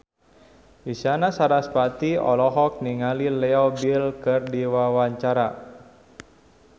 Isyana Sarasvati olohok ningali Leo Bill keur diwawancara